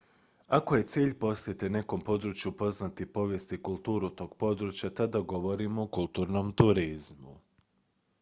ako je cilj posjete nekom području upoznati povijest i kulturu tog područja tada govorimo o kulturnom turizmu